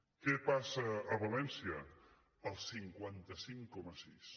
què passa a valència el cinquanta cinc coma sis